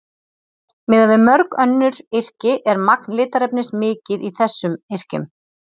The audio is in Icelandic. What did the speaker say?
miðað við mörg önnur yrki er magn litarefnis mikið í þessum yrkjum